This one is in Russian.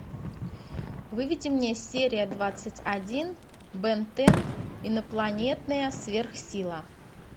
выведи мне серия двадцать один бен тен инопланетная сверхсила